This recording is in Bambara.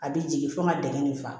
A bɛ jigin fo n ka dingɛ nin fa